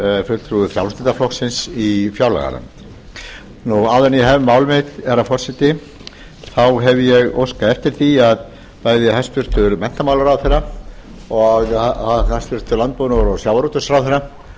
frjálslynda flokksins í fjárlaganefnd áður en ég hef mál mitt herra forseti hef ég óskað eftir því að bæði hæstvirtan menntamálaráðherra og hæstvirtur sjávarútvegs og landbúnaðarráðherra